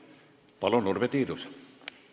Palun, Urve Tiidus!